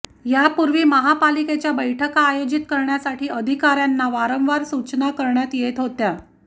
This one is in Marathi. यापूर्वी महापालिकेच्या बैठका आयोजित करण्यासाठी अधिकाऱयांना वारंवार सूचना करण्यात येत होती